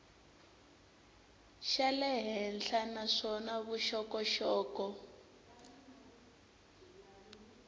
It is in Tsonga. xa le henhla naswona vuxokoxoko